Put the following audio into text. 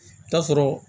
I bi taa sɔrɔ